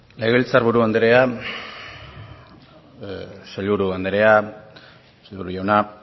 legebiltzar buru andrea sailburu andrea sailburu jauna